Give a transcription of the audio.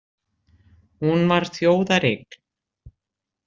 Hún var þjóðareign